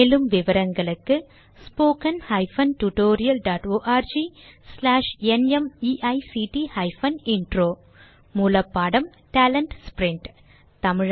மேலும் விவரங்களுக்கு 1 மூலப்பாடம் டேலன்ட்ஸ்பிரின்ட்